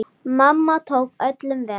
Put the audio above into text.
Mamma tók öllum vel.